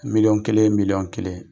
Miliyɔn kelen miliyƆn kelen,